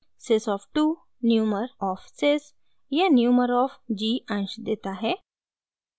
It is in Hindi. sys of 2 numer of sys या numer ऑफ़ g अंश देता है